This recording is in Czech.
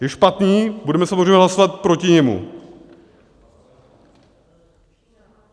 Je špatný, budeme samozřejmě hlasovat proti němu.